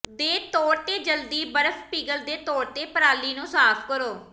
ਦੇ ਤੌਰ ਤੇ ਜਲਦੀ ਬਰਫ਼ ਪਿਘਲ ਦੇ ਤੌਰ ਤੇ ਪਰਾਲੀ ਨੂੰ ਸਾਫ ਕਰੋ